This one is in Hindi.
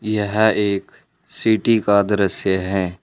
यह एक सिटी का दृश्य है।